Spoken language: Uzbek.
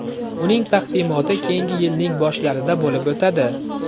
Uning taqdimoti keyingi yilning boshlarida bo‘lib o‘tadi.